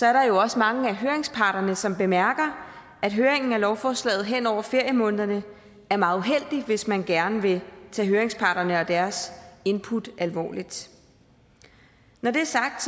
er der jo også mange af høringsparterne som bemærker at høringen om lovforslaget hen over feriemånederne er meget uheldig hvis man gerne vil tage høringsparterne og deres input alvorligt når det er sagt